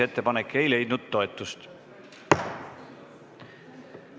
Ettepanek ei leidnud toetust.